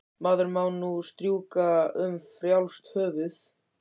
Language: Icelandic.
Maður má nú strjúka um frjálst höfuð!